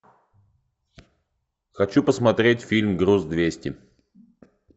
хочу посмотреть фильм груз двести